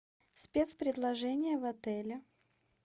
спец предложения в отеле